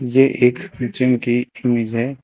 ये एक जिम की इमेज है।